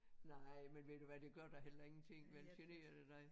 Nej men ved du hvad det gør da heller ingenting vel generer det dig